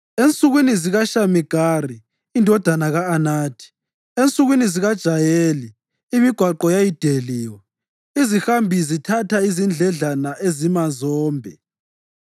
Ensukwini zikaShamigari indodana ka-Anathi, ensukwini zikaJayeli, imigwaqo yayideliwe; izihambi zithatha izindledlana ezimazombe.